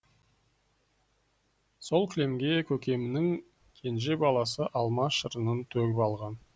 сол кілемге көкемнің кенже баласы алма шырынын төгіп алған